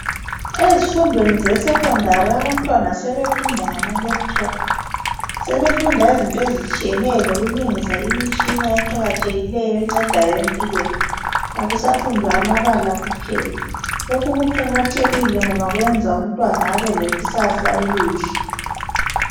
Ezifundweni ze secondary abantwana sebefunda ngama laptop. Sebefunda ngezinto ezitshiyeneyo lokulungisa imitshina eqakathekile encedayo empilweni. Akusafundwa amabala kuphela. Lokhu kuqakatheke ngoba kwenza umntwana abelekusasa elihle.